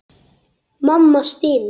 Mamma stynur.